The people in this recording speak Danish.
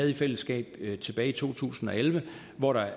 i fællesskab tilbage i to tusind og elleve og hvor der